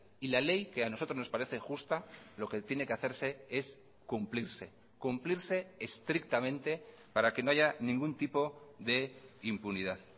y la ley que a nosotros nos parece justa lo que tiene que hacerse es cumplirse cumplirse estrictamente para que no haya ningún tipo de impunidad